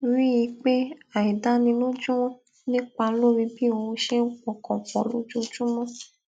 rí i pé àìdánilójú ń nípa lórí bí óun ṣe ń pọkàn pò lójoojúmó